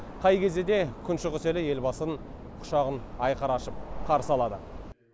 қай кезде де күн шығыс елі елбасын құшағын айқара ашып қарсы алады